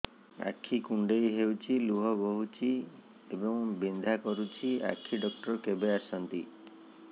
ଆଖି କୁଣ୍ଡେଇ ହେଉଛି ଲୁହ ବହୁଛି ଏବଂ ବିନ୍ଧା କରୁଛି ଆଖି ଡକ୍ଟର କେବେ ଆସନ୍ତି